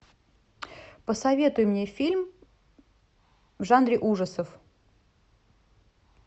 посоветуй мне фильм в жанре ужасов